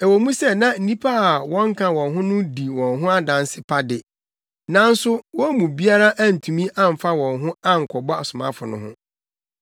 Ɛwɔ mu sɛ na nnipa a wɔnka wɔn ho no di wɔn ho adanse pa de, nanso wɔn mu biara antumi amfa wɔn ho ankɔbɔ asomafo no ho.